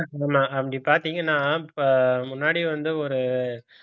ஆமா அப்படி பாத்தீங்கன்னா இப்ப முன்னாடி வந்து ஒரு